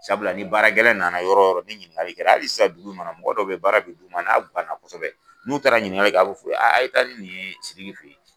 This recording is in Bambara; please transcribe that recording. Sabula ni baara gɛlɛn nana yɔrɔ yɔrɔ ni ɲininkali kɛ la hali sisan dugu in kɔnɔ mɔgɔ dɔ bɛ ye baara bɛ d'u ma n'a guwan na kosɛbɛ n'u taara ɲininkali kɛ a bɛ f'u ye a' ye taa ni nin ye Siriki fɛ ye.